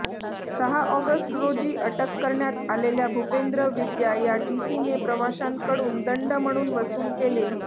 सहा ऑगस्ट रोजी अटक करण्यात आलेल्या भुपेंद्र विद्या या टीसीने प्रवाशांकडून दंड म्हणून वसूल केलेली